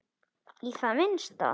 Heimir: Í það minnsta?